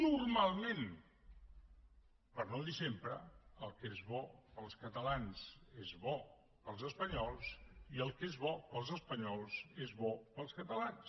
normalment per no dir sempre el que és bo per als catalans és bo per als espanyols i el que és bo per als espanyols és bo per als catalans